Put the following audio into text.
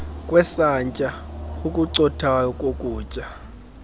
kwesantya okucothayo kokutya